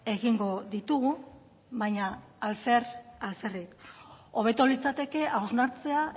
egingo ditugu baina alfer alferrik hobeto litzateke hausnartzea